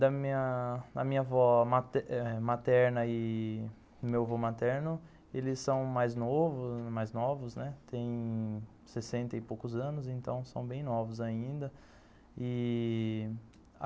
Da minha... da minha avó eh materna e do meu avô materno, eles são mais novo mais novos, tem sessenta e poucos anos, então são bem novos ainda ih...